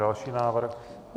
Další návrh.